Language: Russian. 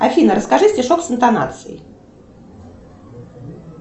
афина расскажи стишок с интонацией